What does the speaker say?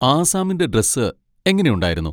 ആസ്സാമിന്റെ dress എങ്ങനെയുണ്ടായിരുന്നു?